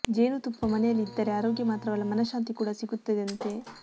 ಜೇನು ತುಪ್ಪ ಮನೆಯಲ್ಲಿ ಇದ್ದರೆ ಅರೋಗ್ಯ ಮಾತ್ರವಲ್ಲ ಮನಶಾಂತಿ ಕೂಡ ಸಿಗುತ್ತದೆಂತೆ